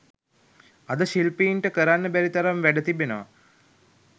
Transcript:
අද ශිල්පීන්ට කරන්න බැරි තරම් වැඩ තිබෙනවා